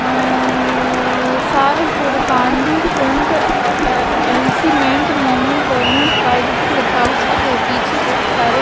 Sahpur Kandi front enhancement moment government private लिखा हुआ है पीछे बहुत सारे--